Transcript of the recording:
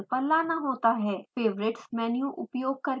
favorites menu उपयोग करके command line खोलें